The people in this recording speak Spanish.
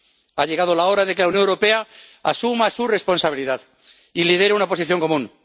Ha llegado la hora de que la Unión Europea asuma su responsabilidad y lidere una posición común.